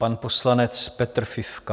Pan poslanec Petr Fifka.